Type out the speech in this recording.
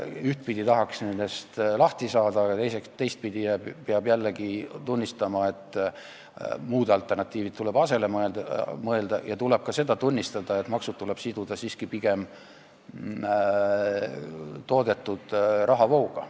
Ühtpidi tahaks nendest maksudest lahti saada, aga teistpidi peab jällegi tunnistama, et alternatiivid tuleb asemele leida, ja tuleb ka tunnistada, et maksud tuleb siduda siiski pigem toodetud rahavooga.